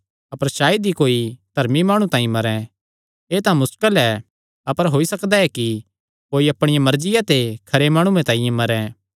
अपर सायद ई कोई धर्मी माणु तांई मरें एह़ तां मुस्कल ऐ अपर होई सकदा ऐ कि कोई अपणी मर्जिया ते खरे माणुये तांई मरें